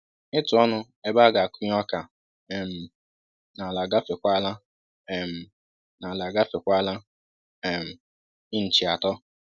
Ịtụ ọnụ ebe a ga-akụnye ọka um n'ala agafekwala um n'ala agafekwala um inchi atọ